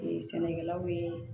sɛnɛkɛlaw ye